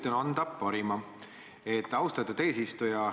Üritan anda parima, austatud eesistuja.